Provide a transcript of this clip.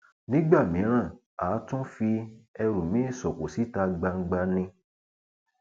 nígbà mìíràn àá tún fi ẹrù mi sóko síta gbangba ni